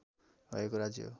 भएको राज्य हो